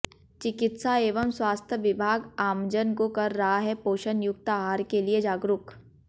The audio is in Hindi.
चिकित्सा एवं स्वास्थ्य विभाग आमजन को कर रहा है पोषण युक्त आहार के लिए जागरूक